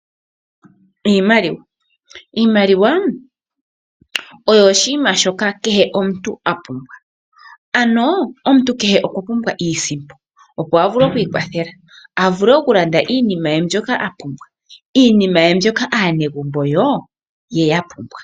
Iimaliwa, iimaliwa oyo oshiima shoka kehe omuntu apumbwa. Ano omuntu kehe okwa pumbwa iisimpo, opo avule oku iwathela avule oku landa iinima ye mbyoka apumbwa, iinima ye